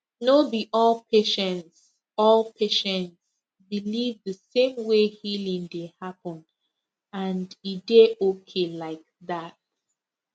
no be all patients all patients believe the same way healing dey happen and e dey okay like that